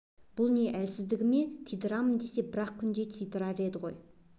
бұл не әлсіздігі ме тиямын десе бір-ақ күнде тидырар еді ғой